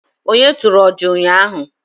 onye turu ọjà ụnyahụ